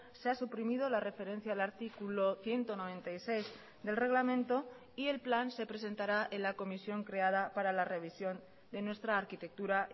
se ha suprimido la referencia al artículo ciento noventa y seis del reglamento y el plan se presentará en la comisión creada para la revisión de nuestra arquitectura